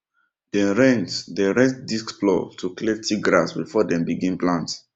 dem rent dem rent disc plough to clear thick grass before dem begin plant